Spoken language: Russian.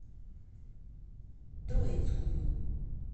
троицкую